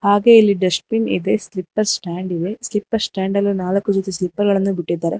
ಹಾಗೆ ಇಲ್ಲಿ ಡಷ್ಟ್ಬಿನ್ ಇವೆ ಸ್ಲಿಪ್ಪರ್ ಸ್ಟಾಂಡ್ ಸ್ಲಿಪ್ಪರ್ ಸ್ಟಾಂಡ್ ಅಲ್ಲಿ ನಾಲ್ಕು ಜೊತಿ ಸ್ಲಿಪ್ಪರ್ ಗಳನ್ನು ಬಿಟ್ಟಿದ್ದಾರೆ.